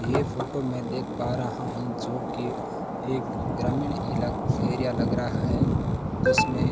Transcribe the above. ये फोटो मैं देख पा रहा हूं जो की एक ग्रामीण इला एरिया लग रहा है जिसमें --